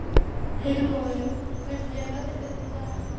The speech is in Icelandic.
Heilmóður, hvernig er veðrið í dag?